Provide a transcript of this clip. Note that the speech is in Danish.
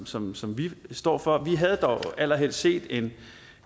som som vi står for vi havde dog allerhelst set en